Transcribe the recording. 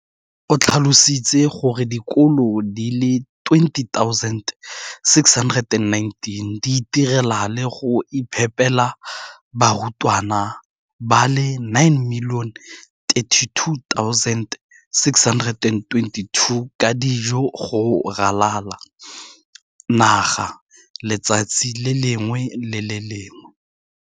o tlhalositse gore dikolo di le 20 619 di itirela le go iphepela barutwana ba le 9 032 622 ka dijo go ralala naga letsatsi le lengwe le le lengwe.